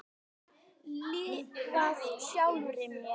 Lifað sjálfri mér.